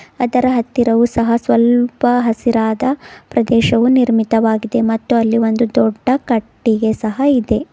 ಅದರ ಹತ್ತಿರವು ಸಹ ಸ್ವಲ್ಪ ಹಸಿರಾದ ಪ್ರದೇಶವು ನಿರ್ಮಿತವಾಗಿದೆ ಮತ್ತು ಅಲ್ಲಿ ಒಂದು ದೊಡ್ಡ ಕಟ್ಟಿಗೆ ಸಹ ಇದೆ.